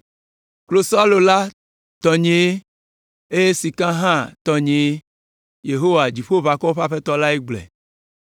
‘Klosalo la tɔnyee, eye sika hã tɔnyee.’ Yehowa, Dziƒoʋakɔwo ƒe Aƒetɔ lae gblɔe.